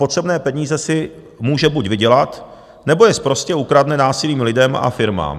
Potřebné peníze si může buď vydělat, nebo je sprostě ukradne násilím lidem a firmám.